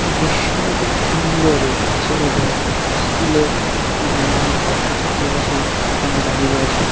দৃশ্যটি খুবই সুন্দর লাগছে এবং স্কুলে -এ নানানরকম ছাত্রছাত্রীরা সেই খানে দাঁড়িয়ে রয়েছে ।